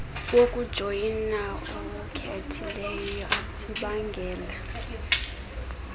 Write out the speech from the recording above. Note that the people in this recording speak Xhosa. wokujoyina owukhethileyo ubangela